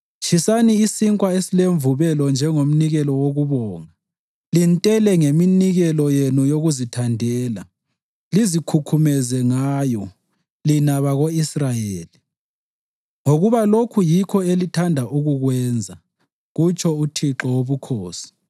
Tshisani isinkwa esilemvubelo njengomnikelo wokubonga lintele ngeminikelo yenu yokuzithandela lizikhukhumeze ngayo, lina bako-Israyeli, ngoba lokhu yikho elithanda ukukwenza,” kutsho uThixo Wobukhosi.